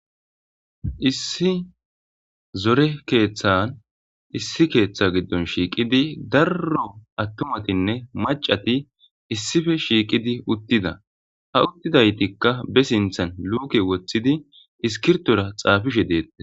issi zore keeththan issi keeththa giddon shiiqidi darro attumatinne macati issife shiiqidi uttida ha uttidaytikka be sinthan luuke woththidi iskirtora xaafishe deette